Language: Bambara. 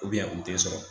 u tɛ sɔrɔ